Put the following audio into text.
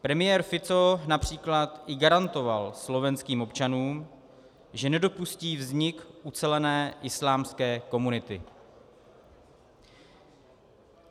Premiér Fico například i garantoval slovenským občanům, že nedopustí vznik ucelené islámské komunity.